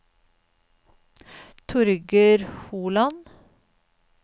Torger Holand